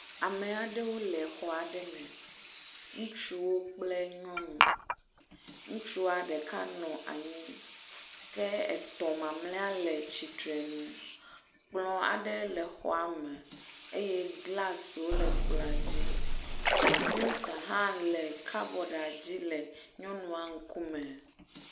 Ame aɖewo le xɔ aɖe me. Ŋutsuwo kple nyɔnu. Ŋutsua ɖeka nɔ anyi ke etɔ̃ malea le tsitrenu. Kplɔ aɖe le xɔa me eye glasiwo le kplɔa dzi. Kɔmpita hã le kabɔd dzi le nyɔnua ŋkume.